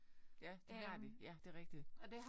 Ja det har de. Ja det rigtigt